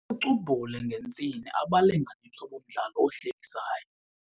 cubhule ngentsini abalinganiswa bomdlalo ohlekisayo.